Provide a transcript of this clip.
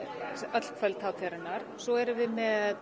öll kvöld hátíðarinnar svo erum við með